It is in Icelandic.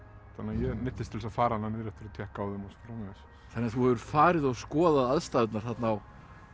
þannig að ég neyddist til að fara niður eftir og tékka á þeim og svo framvegis þannig að þú hefur farið og skoðað aðstæðurnar þarna á